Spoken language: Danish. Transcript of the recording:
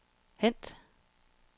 hent